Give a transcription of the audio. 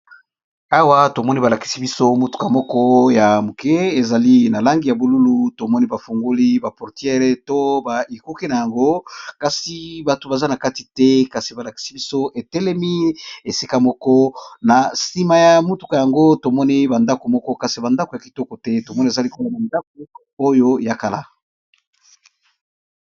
Awa tomoni balakisi biso motuka moko ya moke ezali na langi ya bolulu tomoni ba fungoli ba portiere to ba ekuki na yango kasi bato baza na kati te kasi balakisi biso etelemi esika moko na sima ya motuka yango tomoni ba ndako moko kasi ba ndako ya kitoko te tomoni ezali ba ndako oyo ya kala.